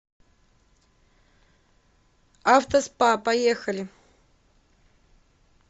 автоспа поехали